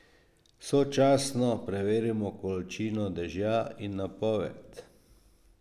Sočasno preverimo količino dežja in napoved.